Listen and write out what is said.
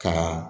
Ka